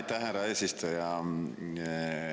Aitäh, härra eesistuja!